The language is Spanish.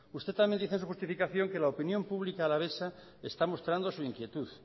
usted también dice en su justificación que la opinión pública alavesa está mostrando su inquietud